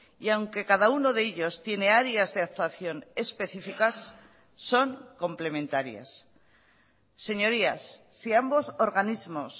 y aunque cada uno de ellos tiene áreas de actuación específicas son complementarias señorías si ambos organismos